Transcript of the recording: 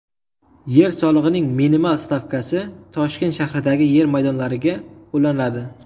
Yer solig‘ining minimal stavkasi Toshkent shahridagi yer maydonlariga qo‘llanadi.